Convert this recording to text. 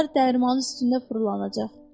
Onlar dərman üstündə fırlanacaq.